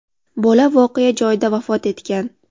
Bola voqea joyida vafot etgan.